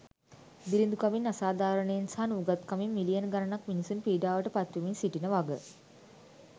දිළිඳුකමින් අසාධාරණයෙන් සහ නූගත්කමින් මිලියන ගණනක් මිනිසුන් පීඩාවට පත්වෙමින් සිටින වග.